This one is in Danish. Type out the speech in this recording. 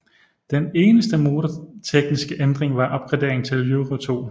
Den eneste motortekniske ændring var opgraderingen til Euro2